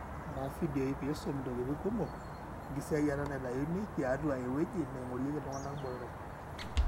inguara ifiadioi pisum intokitin kumok engisiayiata naitayuni tiatua eweuji naigorieki iltungana botorok.